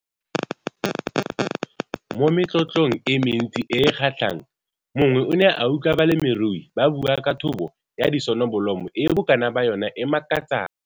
Mo metlotlong e mentsi e e kgatlhang, mongwe o ne a utlwa balemirui ba bua ka thobo ya disonobolomo e bokana ba yona e makatsang.